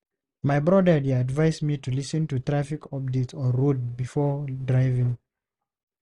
My brother dey advise me to lis ten to traffic updates on radio before driving.